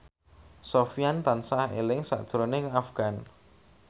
Sofyan tansah eling sakjroning Afgan